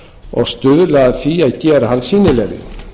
og stuðla að því að gera hann sýnilegri